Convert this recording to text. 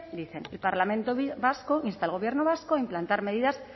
dicen el parlamento vasco insta al gobierno vasco a implantar medidas